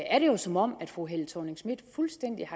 er det jo som om fru helle thorning schmidt fuldstændig